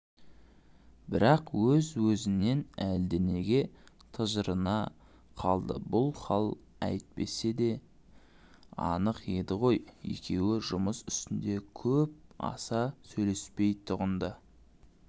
бірақ өз-өзінен әлденеге тыжырына қалды бұл хал айтпаса да анық еді ғой екеуі жұмыс үстінде көп аса сөйлеспейтұғын-ды